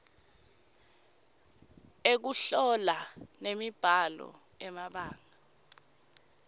ekuhlola nemibhalo emabanga